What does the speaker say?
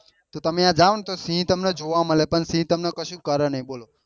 તો તમે ત્યાં જવો ને તો સિહ તમને જોવા મળે પણ સિહ તમ ને કઈ કરે નહિ બોલો